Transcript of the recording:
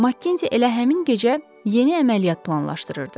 MacKenzie elə həmin gecə yeni əməliyyat planlaşdırırdı.